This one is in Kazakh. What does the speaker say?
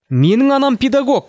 менің анам педагог